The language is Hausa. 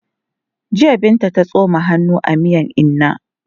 Jiya Binta ta tsoma hannu a miyan inna.